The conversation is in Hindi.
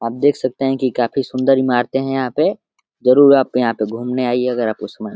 आप देख सकते हैं की काफी सुंदर इमारते है यहाँ पे जरूर आप क यहाँ पे घूमने आइये अगर आपको उसमैं --